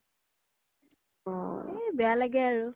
সেই বেয়া লাগে আৰু